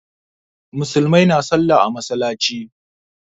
Musulmai na sallah a masallaci